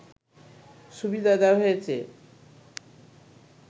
সুবিধা দেয়া হয়েছে